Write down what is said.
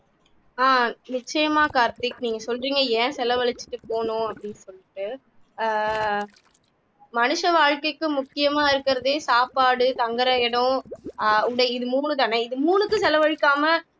ஆஹ் நிச்சயமாக கார்த்திக் நீங்க சொல்றீங்க ஏன் செலவழிச்சுட்டு போகனும் அப்படின்னு சொல்லிட்டு ஆஹ் மனுஷ வாழ்க்கைக்கு முக்கியமா இருக்கிறதே சாப்பாடு தங்குற இடம் அஹ் உடை இது மூணுதானே இது மூணுக்கும் செலவழிக்காம